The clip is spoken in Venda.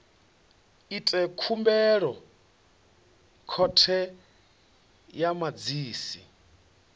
ite khumbelo khothe ya madzhisi